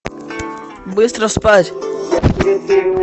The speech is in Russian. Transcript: быстро спать